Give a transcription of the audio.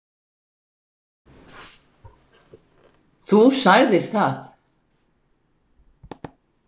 Þú sagðir það.